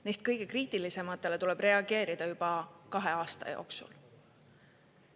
Neist kõige kriitilisematele tuleb reageerida juba kahe aasta jooksul.